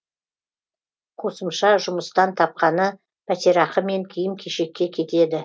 қосымша жұмыстан тапқаны пәтерақы мен киім кешекке кетеді